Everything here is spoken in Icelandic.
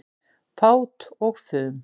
Fát og fum